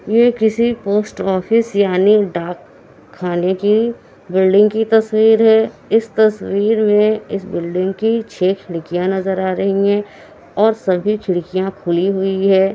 ये किसी post office यानी डाक खाने की बिल्डिंग की तस्वीर है इस तस्वीर में इस बिल्डिंग की छे खिड़कियां नजर आ रही हैं और सभी खिड़कियां खुली हुई हैं।